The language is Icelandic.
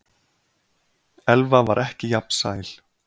Elva var ekki jafn sæl.